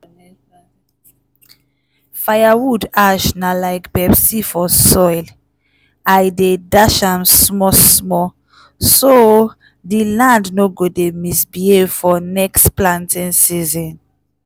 [?.] firewood ash na like pepsi for soil! i dey dash am small-small so di land no go dey misbehave for next planting season.